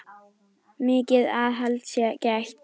Mikils aðhalds sé gætt.